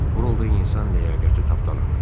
Bu rolda insan ləyaqəti tapdalanır.